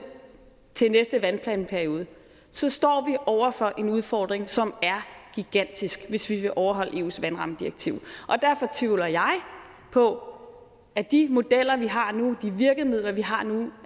til næste vandplanperiode så står vi over for en udfordring som er gigantisk hvis vi vil overholde eus vandrammedirektiv derfor tvivler jeg på at de modeller vi har nu de virkemidler vi har nu